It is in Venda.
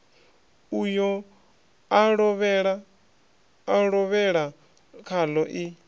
uyo a lovhela khaḽo i